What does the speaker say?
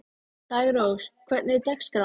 Daggrós, hvernig er dagskráin?